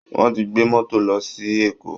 Wọ́n ti gbé mọ́tò lọ sí ṣí Èkó